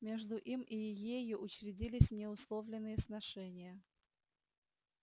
между им и ею учредились неусловленные сношения